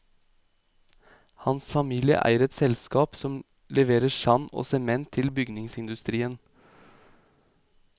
Hans familie eier et selskap som leverer sand og sement til bygningsindustrien.